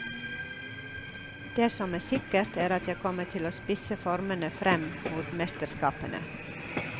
Det som er sikkert er at jeg kommer til å spisse formen frem mot mesterskapene.